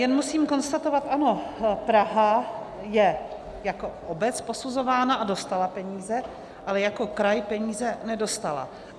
Jen musím konstatovat, ano, Praha je jako obec posuzována a dostala peníze, ale jako kraj peníze nedostala.